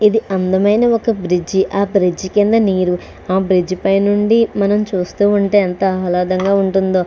ఇది అందమైన ఒక బ్రిడ్జి ఆ బ్రిడ్జి కింద నీరు ఆ బ్రిడ్జి పై నుండి మనం చూస్తూ ఉంటే ఎంత ఆహ్లాదంగా ఉంటుందో.